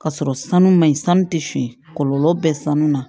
Ka sɔrɔ sanu ma ɲi sanu tɛ fin kɔlɔlɔ bɛ sanu na